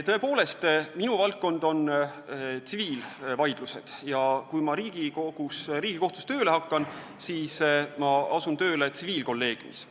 Tõepoolest, minu valdkond on tsiviilvaidlused ja kui ma Riigikohtus tööle hakkan, siis tsiviilkolleegiumis.